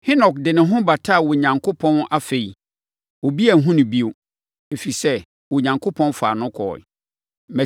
Henok de ne ho bataa Onyankopɔn; afei, obi anhunu no bio, ɛfiri sɛ, Onyankopɔn faa no kɔeɛ.